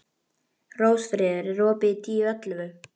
Rósfríður, er opið í Tíu ellefu?